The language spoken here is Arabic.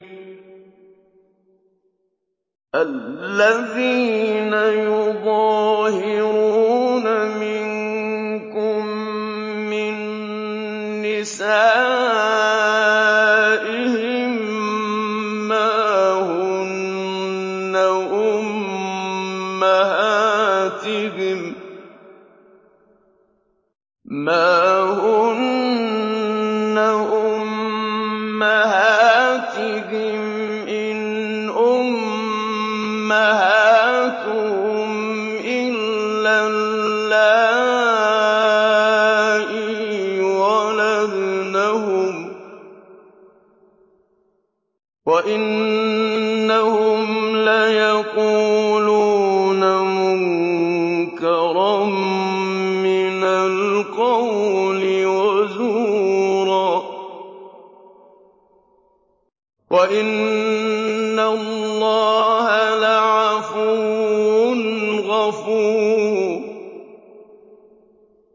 الَّذِينَ يُظَاهِرُونَ مِنكُم مِّن نِّسَائِهِم مَّا هُنَّ أُمَّهَاتِهِمْ ۖ إِنْ أُمَّهَاتُهُمْ إِلَّا اللَّائِي وَلَدْنَهُمْ ۚ وَإِنَّهُمْ لَيَقُولُونَ مُنكَرًا مِّنَ الْقَوْلِ وَزُورًا ۚ وَإِنَّ اللَّهَ لَعَفُوٌّ غَفُورٌ